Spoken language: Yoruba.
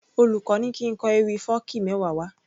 Olùkó ní kín kọ ewì fọ́ọ̀kí mẹ́wa wá